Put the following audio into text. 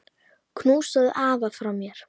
Knúsaðu afa frá mér.